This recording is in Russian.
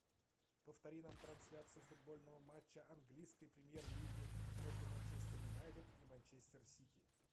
повтори нам трансляцию футбольного матча английской премьер лиги между манчестер юнайтед и манчестер сити